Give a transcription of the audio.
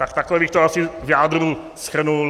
Tak takhle bych to asi v jádru shrnul.